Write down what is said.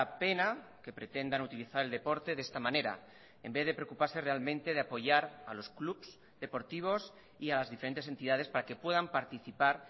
pena que pretendan utilizar el deporte de esta manera en vez de preocuparse realmente de apoyar a los clubs deportivos y a las diferentes entidades para que puedan participar